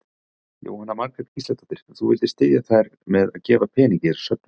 Jóhanna Margrét Gísladóttir: Þú vildir styðja þær með að gefa pening í þessa söfnun?